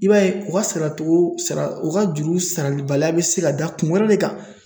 I b'a ye o ga saratogo o ga juru sarali baliya be se ka da kun wɛrɛ de kan